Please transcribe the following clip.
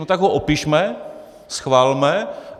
No tak ho opišme, schvalme.